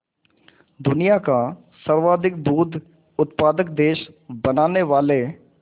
दुनिया का सर्वाधिक दूध उत्पादक देश बनाने वाले